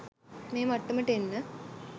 මේ මට්ටමට එන්න